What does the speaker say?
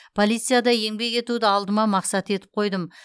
полицияда еңбек етуді алдыма мақсат етіп қойдым